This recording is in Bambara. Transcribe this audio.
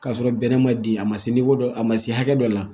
K'a sɔrɔ bɛnɛ ma di a ma se dɔ ma a ma se hakɛ dɔ la